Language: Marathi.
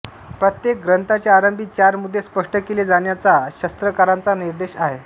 प्रत्येक ग्रंथाच्या आरंभी चार मुद्दे स्पष्ट केले जाण्याचा शास्त्रकारांचा निर्देश आहे